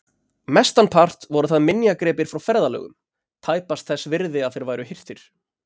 Mestan part voru það minjagripir frá ferðalögum, tæpast þess virði að þeir væru hirtir.